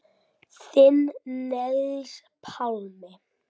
Þinn Niels Pálmi.